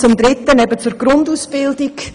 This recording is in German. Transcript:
Zum dritten Punkt, eben zur Grundausbildung.